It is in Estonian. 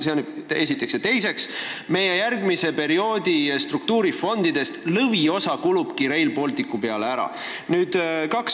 Ja teiseks, lõviosa meie järgmise perioodi struktuurifondide rahast kulub just Rail Balticu peale ära.